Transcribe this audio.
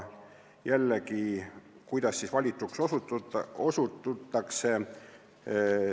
Jällegi, kuidas siis valituks osututakse?